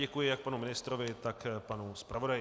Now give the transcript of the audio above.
Děkuji jak panu ministrovi, tak panu zpravodaji.